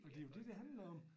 Og det jo dét det handler om